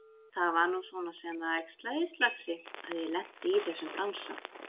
Það var nú svona sem það æxlaðist, lagsi, að ég lenti í þessum bransa.